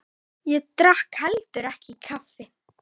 Ég drakk heldur ekki kaffi.